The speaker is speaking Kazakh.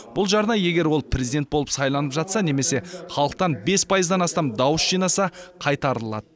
бұл жарна егер ол президент болып сайланып жатса немесе халықтан бес пайыздан астам дауыс жинаса қайтарылады